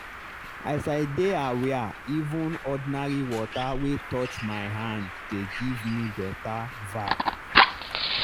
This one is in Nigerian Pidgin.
as i dey aware even ordinary water wey touch my hand dey give me better vibe.